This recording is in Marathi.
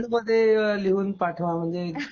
बोल्ड मध्ये लिहून पाठवा म्हणजे